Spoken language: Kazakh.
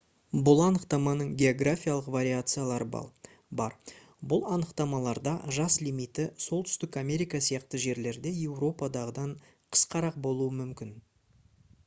бұл анықтаманың географиялық вариациялары бар бұл анықтамаларда жас лимиті солтүстік америка сияқты жерлерде еуропадағыдан қысқарақ болуы мүмкін